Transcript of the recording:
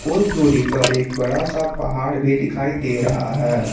कुछ दूरी पर एक बड़ा सा पहाड़ भी दिखाई दे रहा है।